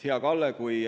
Hea Kalle!